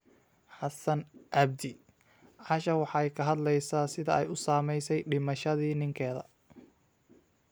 Xasaan cabdi:Caisha waxay ka hadlaysaa sida ay u saamaysay dhimashadii ninkeeda